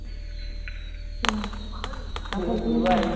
কি হ'ব, কাপোৰ কিনিব